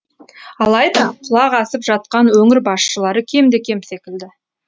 алайда құлақ асып жатқан өңір басшылары кемде кем секілді